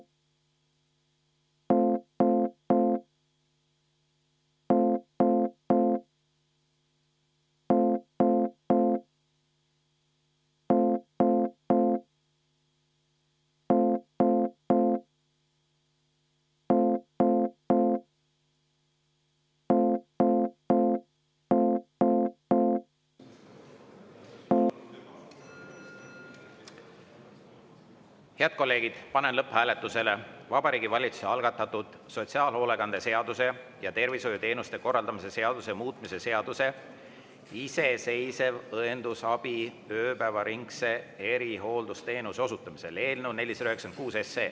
Head kolleegid, panen lõpphääletusele Vabariigi Valitsuse algatatud sotsiaalhoolekande seaduse ja tervishoiuteenuste korraldamise seaduse muutmise seaduse eelnõu 496.